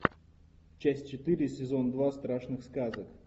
часть четыре сезон два страшных сказок